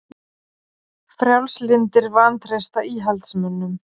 Frjálslyndir vantreysta íhaldsmönnum